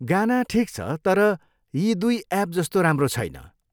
गाना ठिक छ, तर यी दुई एप जस्तो राम्रो छैन।